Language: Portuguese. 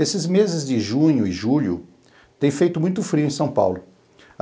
Esses meses de junho e julho têm feito muito frio em São Paulo.